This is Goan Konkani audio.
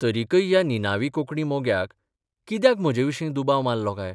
तरिकय ह्या निनावी कोंकणी मोग्याक कित्याक म्हजेविशीं दुबाव मारलो काय?